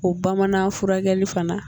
O bamanan furakɛli fana